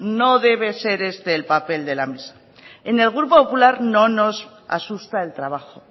no debe ser este el papel de la mesa en el grupo popular no nos asusta el trabajo